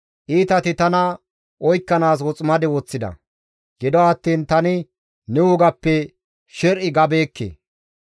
Iitati tana oykkanaas woximade woththida; gido attiin tani ne wogappe sher7i gabeekke.